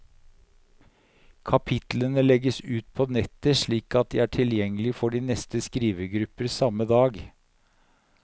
Kapitlene legges ut på nettet slik at de er tilgjengelige for de neste skrivegrupper samme dag.